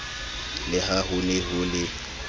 le ha hone ho le